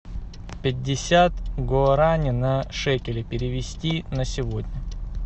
пятьдесят гуарани на шекели перевести на сегодня